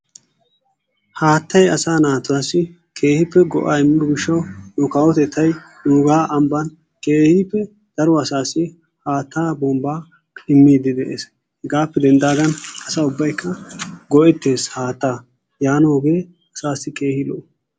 Haattay asay naatuwassi keehippe go'aa immiyo gishshawu nu kawotettaay nuugaa ambbaan keehippe daro asaassi haattaa bombbaa immiidi de"ees, hegaappe denddaagan asaa ubbaykka go'ettees haattaa yaanoogee asaassi keehi lo''o.